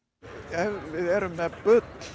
ef við erum með bull